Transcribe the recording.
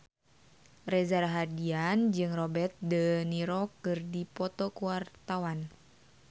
Reza Rahardian jeung Robert de Niro keur dipoto ku wartawan